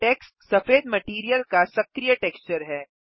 takes सफेद material का सक्रिय टेक्सचर है